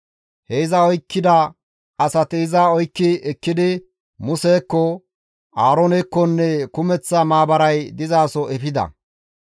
He iza oykkida asati iza oykki ekkidi Musekko, Aaroonekkonne kumeththa maabaray dizaso efida.